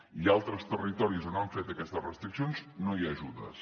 i a altres territoris on han fet aquestes restriccions no hi ha ajudes